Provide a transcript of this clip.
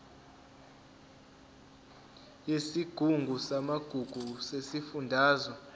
yesigungu samagugu sesifundazwe